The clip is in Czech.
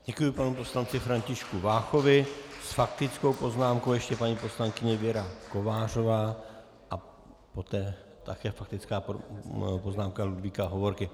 Děkuji panu poslanci Františku Váchovi, s faktickou poznámkou ještě paní poslankyně Věra Kovářová a poté také faktická poznámka Ludvíka Hovorky.